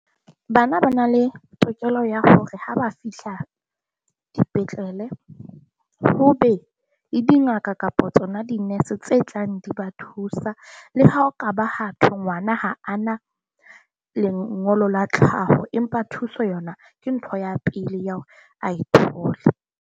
Bana ba na le tokelo ya hore ha ba fihla dipetlele, ho be le dingaka kapa tsona dinese tse tlang di ba thusa. Le ha ho ka ha thwe ngwana ha a na lengolo la tlhaho, empa thuso yona ke ntho ya pele ya hore a e thole.